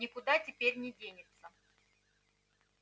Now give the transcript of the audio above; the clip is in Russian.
никуда теперь не денется